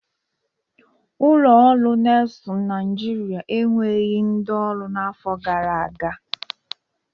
Ụlọ ọrụ Nesul Naịjịrịa eweghi ndị ọrụ n'afọ gara aga.